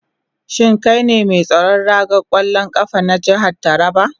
Shin kai ne mai tsaron ragar kwallon kafa na jihar Taraba?